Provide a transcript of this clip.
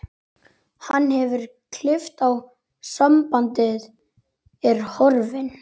Hann hefur klippt á sambandið, er horfinn.